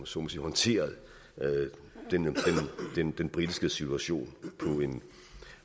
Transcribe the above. så må sige håndteret den den britiske situation